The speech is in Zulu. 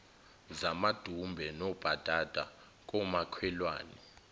zamadumbe nobhatata komakhelwane